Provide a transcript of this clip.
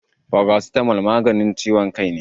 Paracetamol maganin ciwon kai ne.